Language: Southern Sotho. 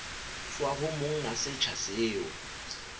tswa ho monga setsha seo